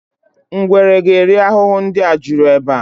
Ngwere ga eri ahụhụ ndị a juru ebe a